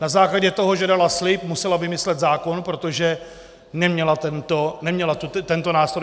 Na základě toho, že dala slib, musela vymyslet zákon, protože neměla tento nástroj.